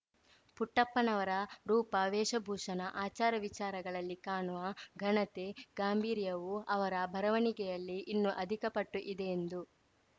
ಪುಟ್ಪಪ್ಪನವರ ರೂಪ ವೇಷಭೂಷಣ ಆಚಾರವಿಚಾರಗಳಲ್ಲಿ ಕಾಣುವ ಘನತೆ ಗಾಂಭೀರ‍್ಯವು ಅವರ ಬರವಣಿಗೆಗಳಲ್ಲಿ ಇನ್ನೂ ಅಧಿಕ ಪಟ್ಟು ಇದೆ ಎಂದು